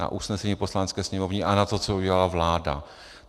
Na usnesení Poslanecké sněmovny a na to, co udělala vláda.